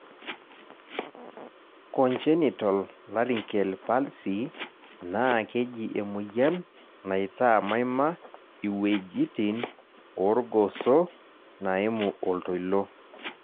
Congenital laryngeal palsy naa keji emoyian naitaa maima iwuejitin oorgoso naimu oltoilo..